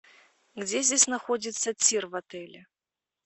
где здесь находится тир в отеле